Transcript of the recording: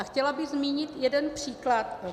A chtěla bych zmínit jeden příklad.